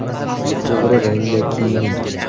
To‘g‘ri rangda kiyining.